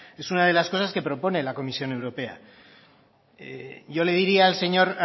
es una de las cosas que propone la comisión europea yo le diría